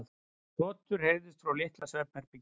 Hrotur heyrðust frá litla svefnherberginu.